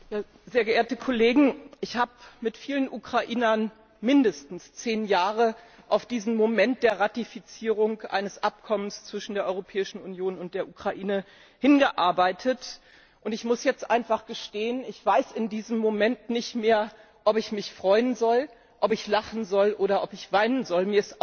Herr Präsident, sehr geehrte Kollegen! Ich habe mit vielen Ukrainern mindestens zehn Jahre auf diesen Moment der Ratifizierung eines Abkommens zwischen der Europäischen Union und der Ukraine hingearbeitet, und ich muss jetzt einfach gestehen Ich weiß in diesem Moment nicht mehr, ob ich mich freuen soll, ob ich lachen soll oder ob ich weinen soll.